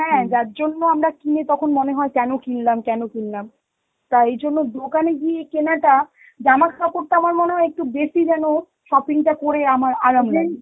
হ্যাঁ যার জন্য আমরা কিনি তখন মনে হয় কেন কিনলাম, কেন কিনলাম? তা এই জন্য দোকানে গিয়ে কেনাটা জামা কাপড়টা আমার মনে হয় একটু বেশি যেন shopping টা করে আমার আরাম লাগে.